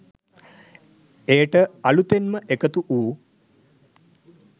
එයට අලූතෙන්ම එකතු වූ